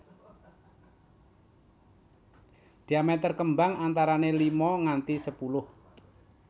Diameter kembang antarané lima nganti sepuluh